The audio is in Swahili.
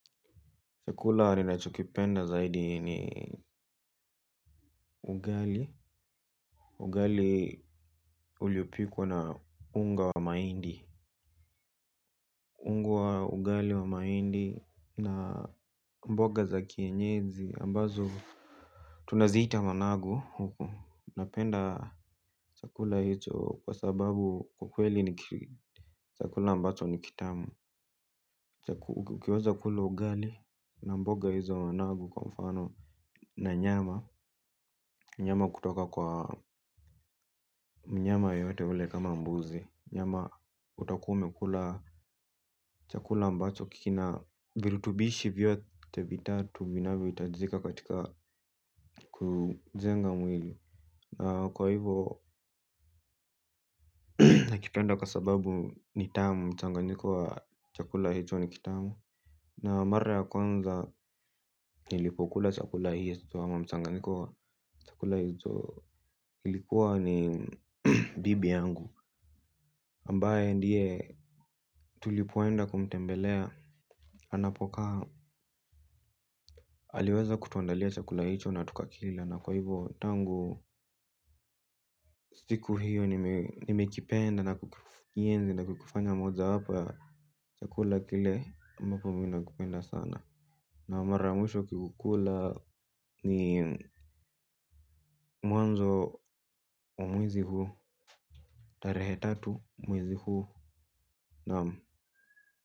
Chakula ninachokipenda zaidi ni ugali. Ugali uliopikwa na unga wa mahindi. Unga wa ugali wa mahindi na mboga za kienyeji ambazo tunaziita managu. Napenda chakula hicho kwa sababu kwa kweli ni chakula ambacho ni kitamu. Ukiweza kula ugali na mboga hizo, managu kwa mfano, na nyama. Nyama kutoka kwa mnyama yeyote yule, kama mbuzi. Nyama itakusaidia kula chakula ambacho kina virutubisho vyote vitatu vinavyohitajika katika kujenga mwili. Na kwa hivyo. Nakipenda kwa sababu ni tamu, mchanganyiko wa chakula hicho ni kitamu. Na mara ya kwanza nilipokula chakula hicho, ama mchanganyiko wa chakula hicho, ilikuwa ni bibi yangu. Ambaye ndiye tulipoenda kumtembelea anapokaa. Aliweza kutuandalia chakula hicho na tukakila na kwa hivo tangu siku hiyo nimekipenda na kukienzi na kukifanya mara hapa. Chakula kile ambacho ninakipenda sana. Na mara mwisho kukikula ni mwanzo wa mwezi huu. Tarehe tatu mwezi huu na.